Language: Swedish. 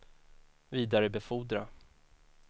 vidarebefordra